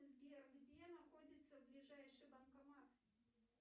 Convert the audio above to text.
сбер где находится ближайший банкомат